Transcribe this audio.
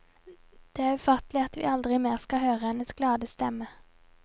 Det er ufattelig at vi aldri mer skal høre hennes glade stemme.